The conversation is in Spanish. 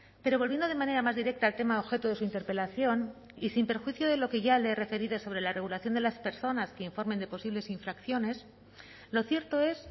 pero volviendo de manera más directa al tema objeto de su interpelación y sin perjuicio de lo que ya le he referido sobre la regulación de las personas que informen de posibles infracciones lo cierto es